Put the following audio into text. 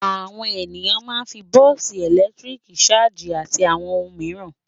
Àwọn ènìyàn máa ń fi bọ́ọ́sì ẹ̀lẹ́tíríkì ṣájì àti àwọn ohun mìíràn.